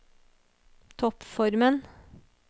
toppformen